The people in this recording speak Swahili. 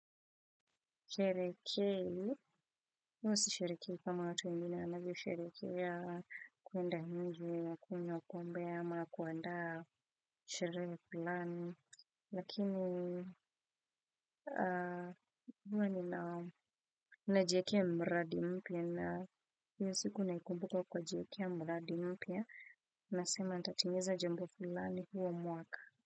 Sherehekehuwa sisherhekei kama watu wengine wanavyo sherekea kunda movie kunywa pombe au kuandaa sherehe fulani lakini huwa ni na najekea mradi mpia na hiyo siku naikumbuka kwa kujekea mradi mpya, nasema natatingeza jambo fulani huo mwaka.